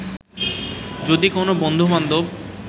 যদি কোনো বন্ধু-বান্ধব